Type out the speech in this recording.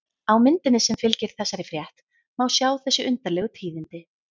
Á myndinni sem fylgir þessari frétt má sjá þessi undarlegu tíðindi.